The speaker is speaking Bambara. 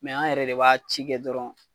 Mɛ an yɛrɛ de b'a ci kɛ dɔrɔn